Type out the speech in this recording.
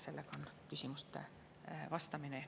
Sellega küsimustele vastamise.